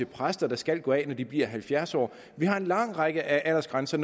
at præster skal gå af når de bliver halvfjerds år vi har en lang række aldersgrænser